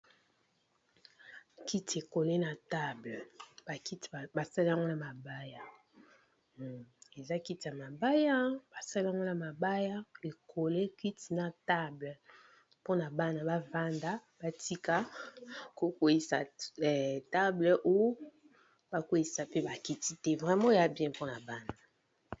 kiti e kolle na table bakiti basali ya na mabaya eza kiti ya mabaya basali na mabaya e kolle kiti na table pona bana bafanda batika ko kweyisa table oyo ba kweyisa pe bakiti te vraimo oyo bien pona bana.